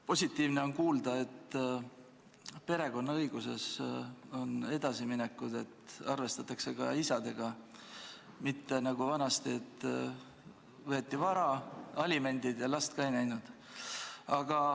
Positiivne on kuulda, et perekonnaõiguses on edasiminekud, et arvestatakse ka isadega, mitte nagu vanasti, et võeti vara ära, tuli maksta alimente ja last ka ei näinud.